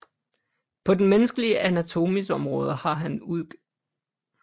På den menneskelige Anatomis Omraade har han udg